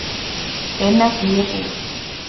Inn af því er búr.